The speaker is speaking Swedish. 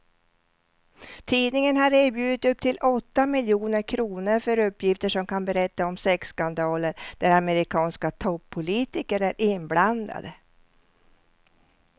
Tidningen har erbjudit upp till åtta miljoner kr för uppgifter som kan berätta om sexskandaler där amerikanska toppolitiker är inblandade.